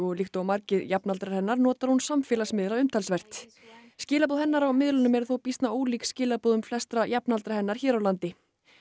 líkt og margir jafnaldrar hennar notar hún samfélagsmiðla umtalsvert skilaboð hennar á miðlunum eru þó býsna ólík skilaboðum flestra jafnaldra hennar hér á landi